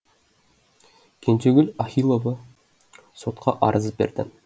кенжегүл ахилова сотқа арыз берді